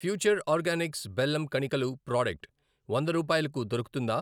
Future organics బెల్లం కణికలు product వంద రూపాయలకు దొరుకుతుందా?